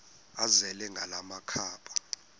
azele ngala makhaba